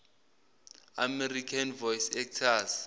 american voice actors